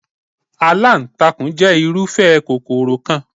Aláǹtakùn jẹ́ irúfẹ́ kòkòrò kan.